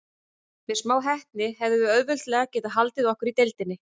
Með smá heppni hefðum við auðveldlega getað haldið okkur í deildinni.